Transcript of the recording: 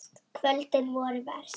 Kvöldin voru verst.